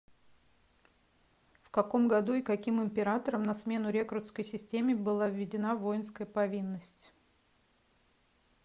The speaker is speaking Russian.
в каком году и каким императором на смену рекрутской системе была введена воинская повинность